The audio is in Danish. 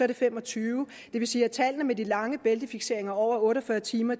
det femogtyvende det vil sige at tallene over de langvarige bæltefikseringer på over otte og fyrre timer